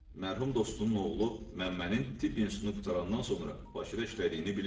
Mərhum dostunun oğlu Məmmənin tibb institutunu qurtarandan sonra Bakıda işlədiyini bilirdi.